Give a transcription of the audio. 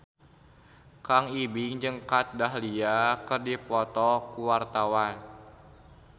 Kang Ibing jeung Kat Dahlia keur dipoto ku wartawan